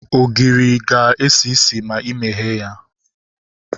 Ogiri ga-esi isi ma imeghe ya